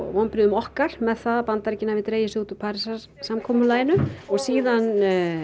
vonbrigðum okkar með það að Bandaríkin hafi dregið sig út úr Parísarsamkomulaginu síðan